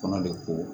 Kɔnɔ de ko